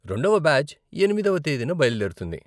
రెండవ బ్యాచ్ ఎనిమిదవ తేదీన బయలుదేరుతుంది.